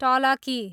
टलकी